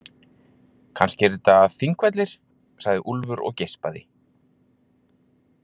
Kannski eru þetta Þingvellir, sagði Úlfur og geispaði.